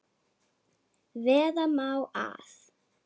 Vera má að